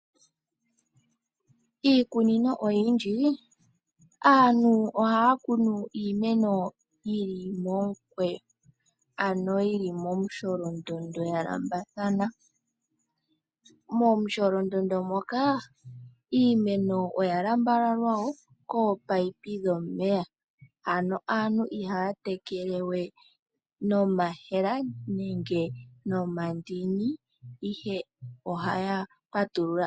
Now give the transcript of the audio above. Iikunino oyindji aantu ohaya kunu iimeno yili momukweyo ano yili momusholondondo ya landulathana. Momusholondondo moka iimeno oya lambalalwa woo kominino dhomeya. Aantu ihaya tekele we nomayemele nenge nomandini ihe ohaya patulula.